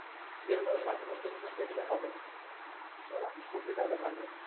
এই ধরো মাঝে মধ্যে ঘুরতে গেলে হবে না। তো ঘুরতে যাওয়াটা ভালো